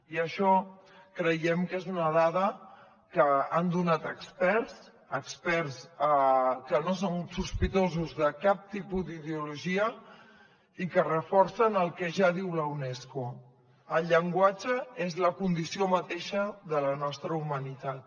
i això creiem que és una dada que han donat experts experts que no són sospitosos de cap tipus d’ideologia i que reforcen el que ja diu la unesco el llenguatge és la condició mateixa de la nostra humanitat